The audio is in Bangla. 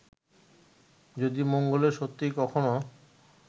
যদি মঙ্গলে সত্যিই কখনও